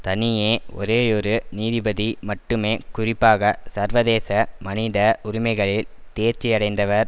தனியே ஒரேயொரு நீதிபதி மட்டுமே குறிப்பாக சர்வதேச மனித உரிமைகளில் தேர்ச்சியடைந்தவர்